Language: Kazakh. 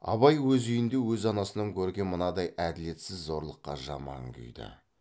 абай өз үйінде өз анасынан көрген мынадай әділетсіз зорлыққа жаман күйді